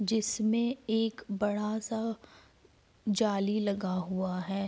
जिसमे एक बड़ा सा जाली लगा हुआ है।